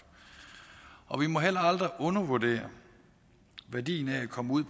og vi må heller aldrig undervurdere værdien af at komme ud